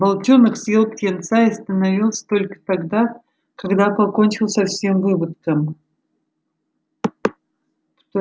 волчонок съел птенца и остановился только тогда когда покончил со всем выводком